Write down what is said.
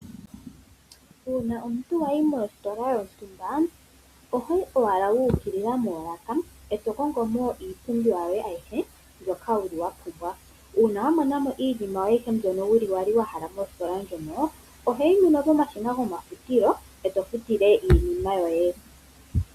Uuna omuntu wayi mositola yontumba, ohoyi owala wuukilila moolaka eto kongo mo iipumbiwa yoye aihe mbyoka wuli wapumbwa. Uuna wamonamo iinima yoye aihe mbyono wuli wali wahala mositola ndjoka ohoyi nduno pomashina gomafutilo eto futile iinima mbyoka.